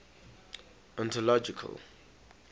anthological